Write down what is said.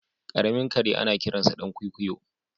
Karamin kare anakiransa dan kwikwiyo.